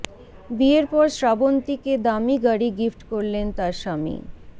বিয়ের পর শ্রাবন্তী কে দামী গাড়ি গিফট করলেন তার স্বামী